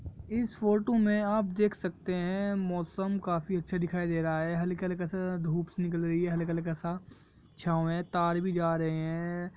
इस फोटू में आप देख सकते है मौसम काफी अच्छा दिखाई दे रहा है हल्का हल्का सा धुप सी निकल रही है हल्का हल्का सा छाँव है तार भी जा रहे है।